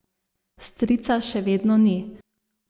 Strica še vedno ni.